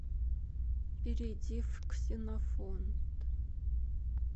перейди в ксенофонт